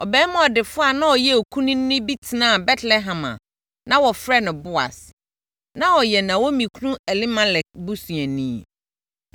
Ɔbarima ɔdefoɔ a na ɔyɛ okunini bi tenaa Betlehem a na wɔfrɛ no Boas. Na ɔyɛ Naomi kunu Elimelek busuani.